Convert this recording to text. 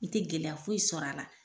I tɛ gɛlɛya foyi sɔrɔ a la.